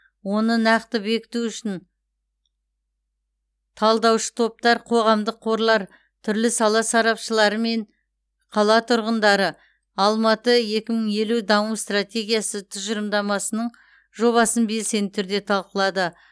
оны нақты бекіту үшін талдаушы топтар қоғамдық қорлар түрлі сала сарапшылары және қала тұрғындары алматы екі мың елу даму стратегиясы тұжылымдамасының жобасын белсенді түрде талқылады